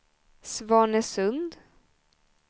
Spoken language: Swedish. Svanesund